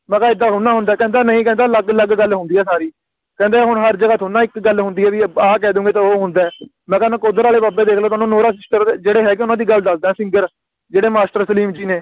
ਮੈਂ ਕਿਹਾ ਏਦਾਂ ਹੁੰਦਾ ਹੁੰਦਾ ਕਹਿੰਦਾ ਨਹੀਂ ਕਹਿੰਦਾ ਅਲੱਗ ਲੱਗ ਗੱਲ ਹੁੰਦੀ ਆ ਸਾਰੀ ਕਹਿੰਦੇ ਹੁਣ ਹਰ ਜਗਹ ਥੋੜੇ ਨਾ ਇਕ ਗੱਲ ਹੁੰਦੀ ਆ ਵੀ ਆ ਕਹਿ ਦੋਗੇ ਤਾ ਉਹ ਹੁੰਦਾ ਏ ਮੈਂ ਕਿਹਾ ਨਕੋਦਰ ਵਾਲੇ ਬਾਬੇ ਦੇਖ ਲੋ ਤੁਹਾਨੂੰ ਨੋਰਾ ਚਿੱਕੜ ਜਿਹੜੇ ਹੈਗੇ ਨੇ ਓਹਨਾ ਦੀ ਗੱਲ ਦਸਦਾ ਸੀ ਜਿਹੜਾ ਜਿਹੜੇ Master ਸਲੀਮ ਜੀ ਨੇ